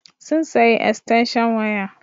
Sun sayi estanshan waya.